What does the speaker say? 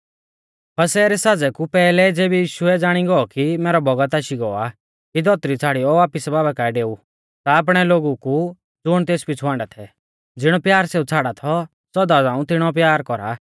फसह रै साज़ै कु पैहलै ज़ेबी यीशुऐ ज़ाणी गौ कि मैरौ बौगत आशी गौ आ कि धौतरी छ़ाड़ियौ वापिस बाबा काऐ डेउ ता आपणै लोगु कु ज़ुण तेस पिछ़ु हाण्डा थै ज़िणौ प्यार सेऊ छ़ाड़ा थौ सौदा झ़ांऊ तिणौऔ प्यार कौरा